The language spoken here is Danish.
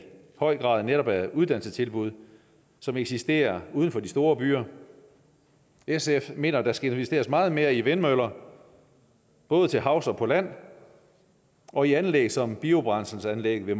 høj grad netop er uddannelsestilbud som eksisterer uden for de store byer sf mener at der skal investeres meget mere i vindmøller både til havs og på land og i anlæg som biobrændselsanlægget ved